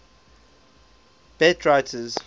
beat writers